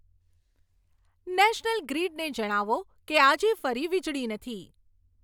national ગ્રિડને જણાવો કે આજે ફરી વીજળી નથી